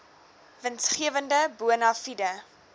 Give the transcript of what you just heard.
winsgewende bona fide